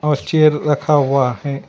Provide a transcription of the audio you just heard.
कुछ चेयर रखा हुआ है।